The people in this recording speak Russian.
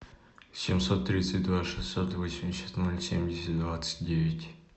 семьсот тридцать два шестьсот восемьдесят ноль семьдесят двадцать девять